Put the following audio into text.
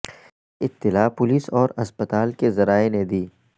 یہ اطلاع پولیس اور اسپتال کے ذرائع نے دی